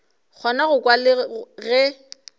kgona go kwa le ge